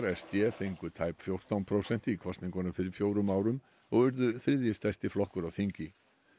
s d fengu tæp fjórtán prósent í kosningunum fyrir fjórum árum og urðu þrjiði stærsti flokkur á þingi